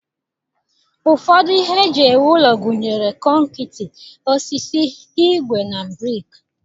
Ụfọdụ ihe eji ewu ụlọ gụnyere konkịtị, osisi, ígwè na brik.